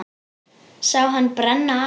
Sá hann brenna af.